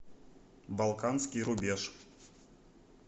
балканский рубеж